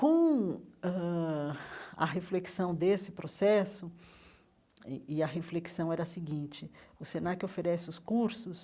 Com ãh a reflexão desse processo, e e a reflexão era a seguinte, o Senac oferece os cursos